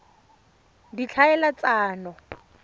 ditlhaeletsano